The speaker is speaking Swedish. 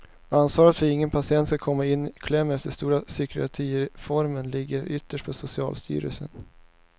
Ansvaret för att ingen patient skulle komma i kläm efter den stora psykiatrireformen ligger ytterst på socialstyrelsen.